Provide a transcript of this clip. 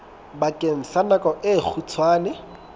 bakeng sa nako e kgutshwane